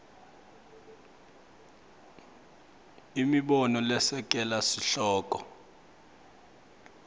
imibono lesekela sihloko